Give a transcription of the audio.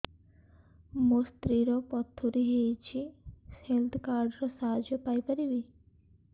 ମୋ ସ୍ତ୍ରୀ ର ପଥୁରୀ ହେଇଚି ହେଲ୍ଥ କାର୍ଡ ର ସାହାଯ୍ୟ ପାଇପାରିବି